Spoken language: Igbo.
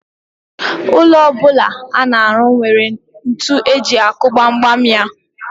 Ụlọ ọ bụla a na-arụ nwere ntu eji akụ gbamgbam ya.